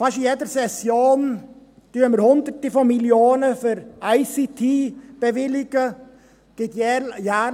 Fast in jeder Session bewilligen wir hunderte Millionen für die ICT.